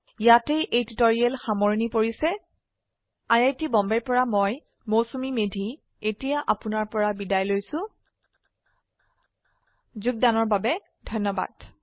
ইয়াতে এই টিউটৰীয়েল সামৰনি পৰিছে আই আই টী বম্বে ৰ পৰা মই মৌচুমী মেধী এতিয়া আপুনাৰ পৰা বিদায় লৈছো যোগদানৰ বাবে ধন্যবাদ